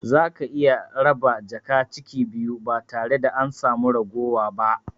Zaka iya raba jaka ciki biyu ba tare da an sami raguwa ba